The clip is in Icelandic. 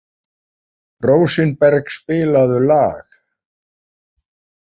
Rósinberg, spilaðu lag.